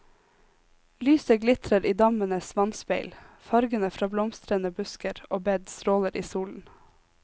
Lyset glitrer i dammenes vannspeil, fargene fra blomstrende busker og bed stråler i solen.